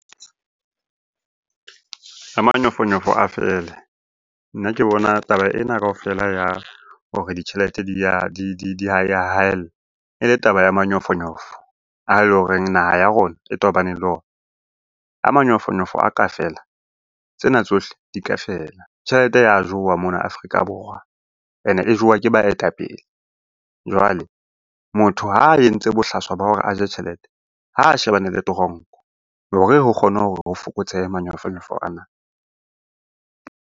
Manyofonyofo a fele. Nna ke bona taba ena kaofela ya hore ditjhelete di ya haella e le taba ya manyofonyofo ae leng hore naha ya rona e tobaneng le ona. Ha manyofonyofo a ka fela, tsena tsohle di ka fela. Tjhelete ya jowa mona Afrika Borwa, ene e jowa ke baetapele. Jwale motho ha a entse bohlaswa ba hore a je tjhelete, ha a shebane le toronko hore re kgone fokotsehe manyofonyofo ana.